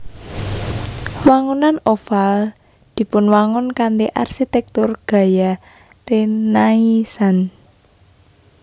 Wangunan Oval dipunwangun kanthi arsitèktur gaya rénaisans